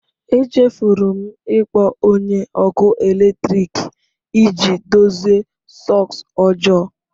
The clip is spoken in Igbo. Echefuru m ịkpọ onye ọkụ eletrik iji dozie sọks ọjọọ.